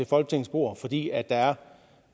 folketingets bord fordi der er